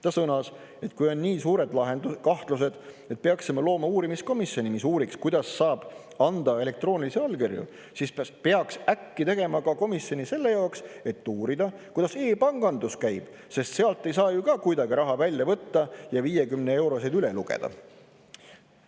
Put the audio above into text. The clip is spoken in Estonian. Ta sõnas, et kui on nii suured kahtlused, et peaksime looma uurimiskomisjoni, mis uuriks, kuidas saab anda elektroonilisi allkirju, siis pärast peaks äkki tegema ka komisjoni selle jaoks, et uurida, kuidas e-pangandus käib, sest sealt ei saa ju ka kuidagi raha välja võtta ja 50-euroseid üle lugeda.